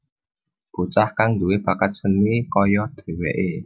Bocah kang duwé bakat seni kaya dheweké